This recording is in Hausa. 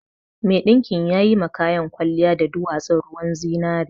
Mai ɗinkin yayi ma kayan kwaliya da dowatsun ruwan zinari